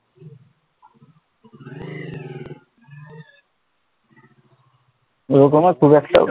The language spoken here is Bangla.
জোড় করার খুব একটা